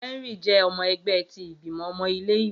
Henry jẹ ọmọ ẹgbẹ ti Igbimọ ọmọ ile-iwe